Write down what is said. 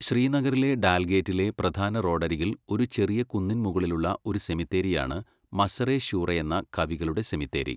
ശ്രീനഗറിലെ ഡാൽഗേറ്റിലെ പ്രധാന റോഡരികിൽ ഒരു ചെറിയ കുന്നിൻ മുകളിലുള്ള ഒരു സെമിത്തേരിയാണ് മസറെ ശൂറയെന്ന കവികളുടെ സെമിത്തേരി.